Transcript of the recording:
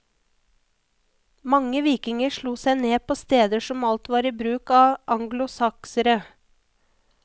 Mange vikinger slo seg ned på steder som alt var i bruk av anglosaksere.